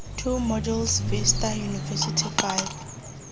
two modules vista university five